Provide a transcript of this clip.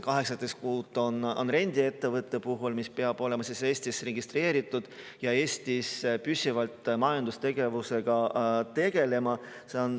18 kuud on rendiettevõtte puhul, mis ta peab olema Eestis registreeritud ja Eestis püsivalt majandustegevusega tegelenud.